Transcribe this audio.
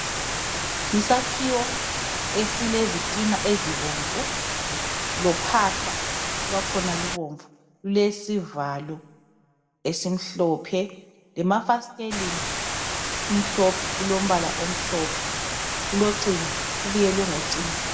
Yisakhiwo esilezitina ezibomvu lophahla lwakhona lubomvu lulesivalo esimhlophe lemafastelini kumhlophe kulombala omhlophe kulocingo kubiyelwe ngocingo.